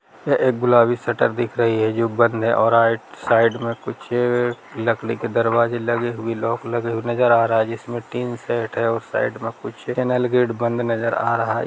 यह एक गुलाबी शटर दिख रही है जो बंद है और राइट साइड में कुछ लकड़ी के दरवाज़े लगे हुए लॉक लगे हुए नज़र आ रहा है जिसमे टिन शेड है और साइड में कुछ चैनल गेट बंद नज़र आ रहा है।